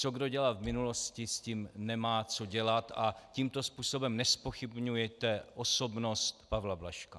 Co kdo dělal v minulosti, s tím nemá co dělat a tímto způsobem nezpochybňujte osobnost Pavla Blažka.